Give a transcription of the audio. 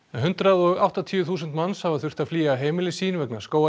hundrað og áttatíu þúsund manns hafa þurft að flýja heimili sín vegna